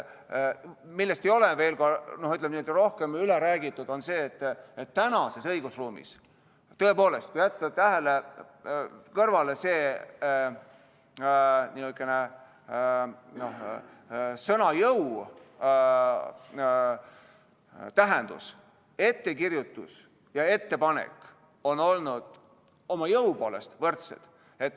Millest ei ole rohkem räägitud, on see, et tänases õigusruumis, tõepoolest, kui jätta kõrvale niisugune sõna jõu tähendus, on ettekirjutus ja ettepanek olnud oma jõu poolest võrdsed.